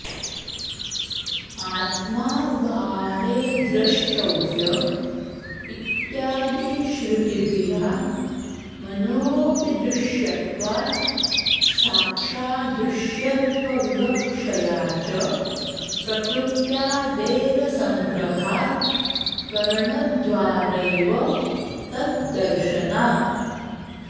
आत्मा वाऽरे द्रष्टव्य इत्यादिश्रुतिभिरात्मनोऽपि दृश्यत्वात् साक्षाद्दृश्यत्वविवक्षया च प्रकृत्यादेरसङ्ग्रहात् करणद्वारैव तद्दर्शनात्